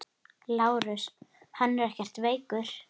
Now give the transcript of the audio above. LÁRUS: Hann er ekkert veikur.